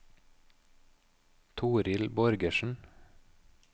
Toril Borgersen